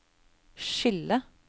skille